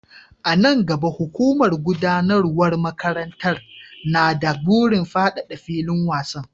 A nan gaba, hukumar gudanarwar makarantar na da burin fadada filin wasan.